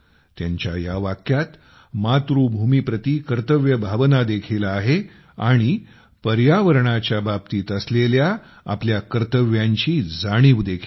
त्यांच्या या वाक्यात मातृभूमीप्रती कर्तव्य भावना देखील आहे आणि पर्यावरणाच्या बाबतीत असलेल्या आपल्या कर्तव्यांची जाणीव देखील आहे